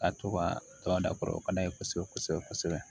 Ka to ka tɔn da kɔrɔ o ka d'a ye kosɛbɛ kosɛbɛ kosɛbɛ